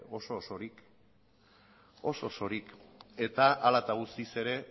oso osorik eta hala eta guztiz ere